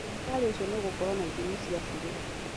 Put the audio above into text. Thibitarĩ ũcio nĩũgũkorwo na ithimi cia bure